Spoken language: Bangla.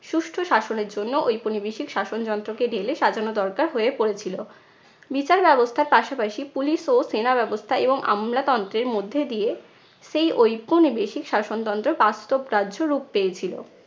সুষ্ঠূ শাসনের জন্য ঐপনিবেশিক শাসন যন্ত্রকে ঢেলে সাজানো দরকার হয়ে পড়েছিলো। বিচার ব্যবস্থার পাশাপাশি police ও সেনা ব্যবস্থা এবং আমলাতন্ত্রের মধ্যে দিয়ে সেই ঐপনিবেশিক শাসনতন্ত্র বাস্তব কার্যরূপ পেয়েছিলো।